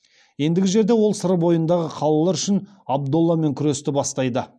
ендігі жерде ол сыр бойындағы қалалар үшін абдолламен күресті бастайды